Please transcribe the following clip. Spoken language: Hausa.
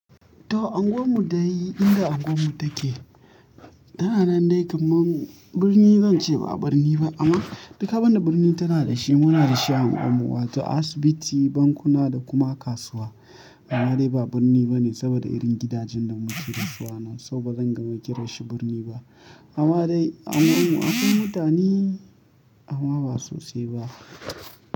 To unguwar mu da inda unguwar mu take tana nan dai kamar birni. Zan ce ba birni ba amma duka abin da birni tana da shi muna da shi a unguwar mu, wato asibiti, bankuna da kuma kasuwa. Amma dai ba birni bane saboda irin gidajen da muke da su ana so ba zan gama kiran shi birni ba. Amma dai a unguwar mu akwai mutane amma ba sosai ba.